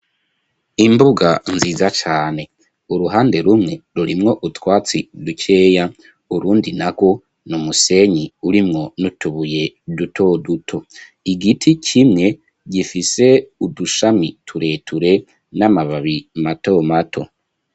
Imbuga nziza cane. Uruhande rumwe rurimwo utwatsi dukeya, urundi narwo ni umusenyi urimwo n'utubuye duto duto. Igiti kimwe gifise udushami tureture n'amababi mato mato.